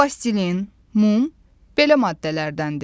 Plastilin, mum belə maddələrdəndir.